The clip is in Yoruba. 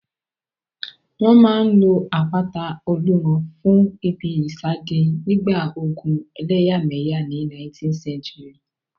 Wọ́n máa n lo àpáta Olúmọ fún ìbí ìsádi nígbà ogun ẹlẹ́yàmẹ̀yà ní 19th century